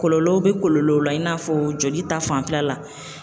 Kɔlɔlɔw be kɔlɔlɔw la i n'a fɔ joli ta fanfɛla la.